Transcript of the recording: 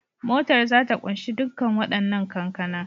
Motar za ta kunshi dukkan wadannan kankana